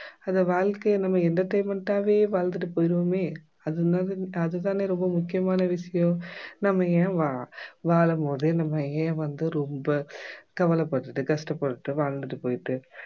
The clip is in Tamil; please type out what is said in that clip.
அந்த வாழ்க்கைய நம்ம entertainment ஆவே வாழ்ந்துட்டு போய்டுவோமே அது இன்னாது அது தானே ரொம்ப முக்கியமான விஷயம் நம்ம ஏன் வா வாழும் போதே நம்ம ஏன் வந்து ரொம்ப கவலைப்பட்டுகிட்டு கஷ்டப்பட்டுகிட்டு வாழ்ந்துட்டு போயிட்டு